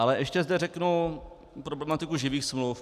Ale ještě zde řeknu problematiku živých smluv.